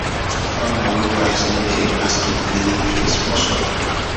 farmer wey wise no dey ever skip cleaning phase for soil